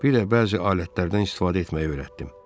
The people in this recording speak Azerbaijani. Bir də bəzi alətlərdən istifadə etməyi öyrətdim.